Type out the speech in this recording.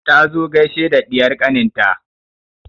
Ta zo gaishe da ɗiyar ƙanin ta